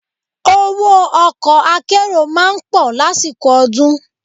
Owó ọkọ̀ akérò máa ń pọ̀ lásìkò ọdún.